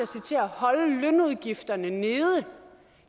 citerer holde lønudgifterne nede